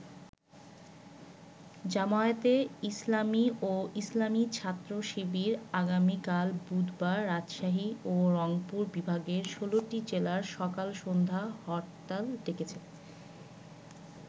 জামায়াতে ইসলামী ও ইসলামী ছাত্র শিবির আগামীকাল বুধবার রাজশাহী ও রংপুর বিভাগের ১৬টি জেলায় সকাল-সন্ধ্যা হরতাল ডেকেছে।